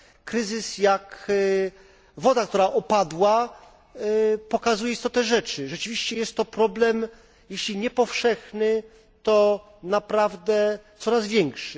Kryzys jak woda, która opadła, pokazuje istotę rzeczy rzeczywiście jest to problem, jeśli nie powszechny, to naprawdę coraz większy.